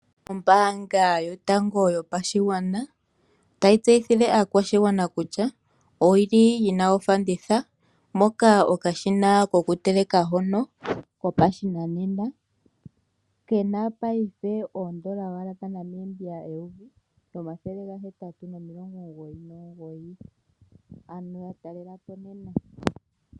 Ombaanga yotango yo pashigwana otayi tseythile aakwashigwana kutya oyili yina ofanditha, moka okashina koku teleka hono ko pashinanena kena paife owala oondola dha Namibia eyovi nomathele gahetatu omilongo omugoyi nomugoyi. Ano ya talelapo nena.